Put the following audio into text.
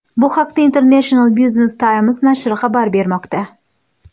Bu haqda International Business Times nashri xabar bermoqda .